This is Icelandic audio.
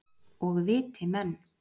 Og viti menn.